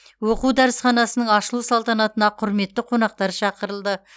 оқу дәрісханасының ашылу салтанатына құрметті қонақтар шақырылды